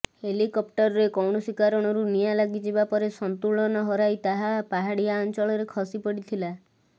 ହେଲିକପ୍ଟରରେ କୌଣସି କାରଣରୁ ନିଆଁ ଲାଗିଯିବା ପରେ ସନ୍ତୁଳନ ହରାଇ ତାହା ପାହାଡ଼ିଆ ଅଞ୍ଚଳରେ ଖସିପଡ଼ିଥିଲା